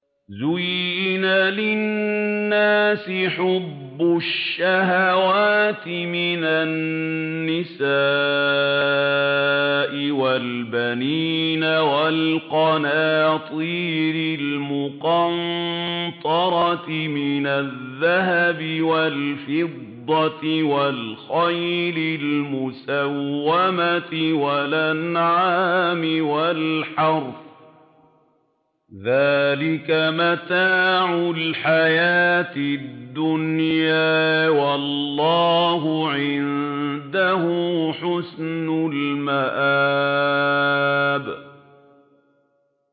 زُيِّنَ لِلنَّاسِ حُبُّ الشَّهَوَاتِ مِنَ النِّسَاءِ وَالْبَنِينَ وَالْقَنَاطِيرِ الْمُقَنطَرَةِ مِنَ الذَّهَبِ وَالْفِضَّةِ وَالْخَيْلِ الْمُسَوَّمَةِ وَالْأَنْعَامِ وَالْحَرْثِ ۗ ذَٰلِكَ مَتَاعُ الْحَيَاةِ الدُّنْيَا ۖ وَاللَّهُ عِندَهُ حُسْنُ الْمَآبِ